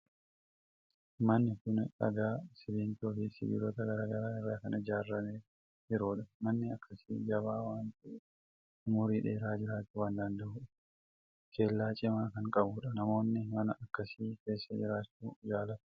Manni kun dhagaa, simmintoo fi sibiilota garaa garaa irraa kan ijaaramee jirudha. Manni akkasi jabaa waan ta'eef, umurii dheeraa jiraachuu kan danda'udha. Kellaa cimaa kan qabudha. namoonni mana akkasii keessa jiraachuu jaalatu.